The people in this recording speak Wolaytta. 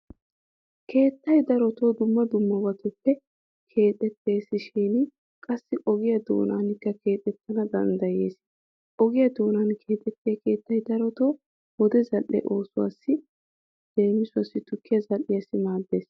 Keettay daroto dumma dummabatuppe keexetteessinne qassi ogiya doonaanikka keexettana danddayees. Ogiya doonan keexettiya keettay darotoo wode zal"e oosuwassi leemisuwawu tukkiya zal"iyassi maaddees.